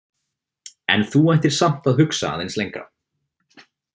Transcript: En þú ættir samt að hugsa aðeins lengra.